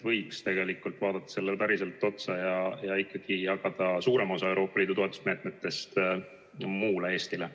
Võiks vaadata sellele päriselt otsa ja ikkagi jagada suurema osa Euroopa Liidu toetusmeetmetest muule Eestile.